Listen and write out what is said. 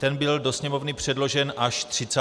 Ten byl do Sněmovny předložen až 30. dubna.